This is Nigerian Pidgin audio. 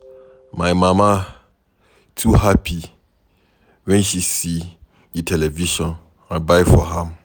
My mama too happy wen she see the television I buy for am.